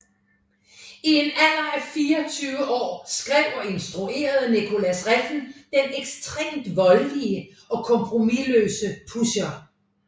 I en alder af 24 år skrev og instruerede Nicolas Refn den ekstremt voldelige og kompromisløse Pusher